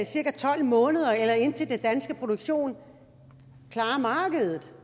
cirka tolv måneder eller indtil den danske produktion klarer markedet